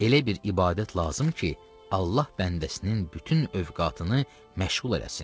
Elə bir ibadət lazım ki, Allah bəndəsinin bütün övqatını məşğul eləsin.